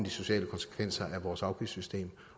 sociale konsekvenser er af vores afgiftssystem